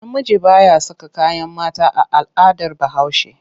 Namiji ba ya saka kayan mata a al'adar Bahaushe.